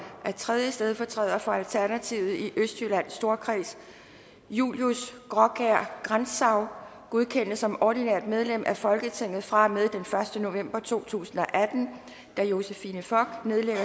at tredje stedfortræder for alternativet i østjyllands storkreds julius graakjær grantzau godkendes som ordinært medlem af folketinget fra og med den første november to tusind og atten da josephine fock nedlægger